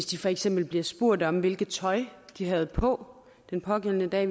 de for eksempel bliver spurgt om hvilket tøj de havde på den pågældende dag